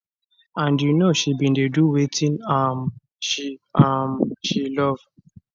and you know she bin dey do wetin um she um she love